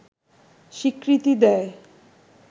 স্বীকৃতি দেয়